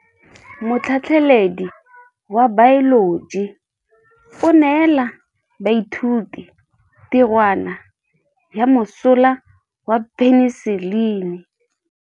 Motlhatlhaledi wa baeloji o neela baithuti tirwana ya mosola wa peniselene.